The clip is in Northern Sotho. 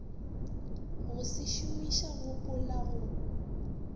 go se šomiša gopola go